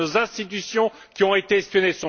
Ce sont nos institutions qui ont été espionnées.